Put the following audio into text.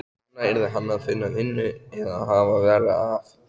Núna yrði hann að finna vinnu eða hafa verra af.